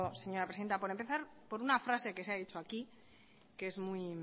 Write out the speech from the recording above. señora presidenta por empezar por una frase que se ha dicho aquí que es muy